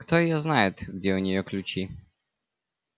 кто её знает где у неё ключи